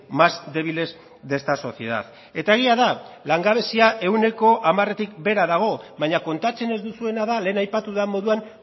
más débiles de esta sociedad eta egia da langabezia ehuneko hamaretik behera dago baina kontatzen ez duzuena da lehen aipatu den moduan